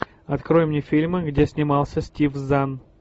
открой мне фильмы где снимался стив зан